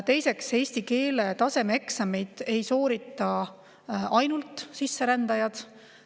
Teiseks, eesti keele tasemeeksameid ei soorita ainult sisserändajad.